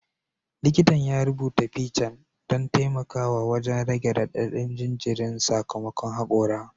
Likitan ya rubuta piccan don taimakawa wajen rage radadin jinjirin sakamakon hakora